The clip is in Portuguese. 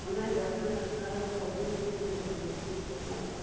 Quando nós encostamos na escada, a onça voou em cima de nós, eu meti o fogo matei.